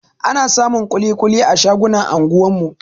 Ana samun kuli-kuli a shagunan anguwan mu